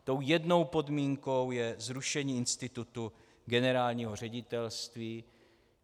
Tou jednou podmínkou je zrušení institutu generálního ředitelství.